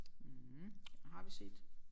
Mh den har vi set